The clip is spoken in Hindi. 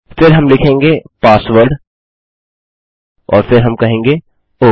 फिर हम लिखेंगे पासवर्ड और फिर हम कहेंगे ओह